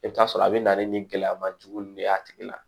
I bɛ t'a sɔrɔ a bɛ na ni gɛlɛyama jugu de y'a tigi la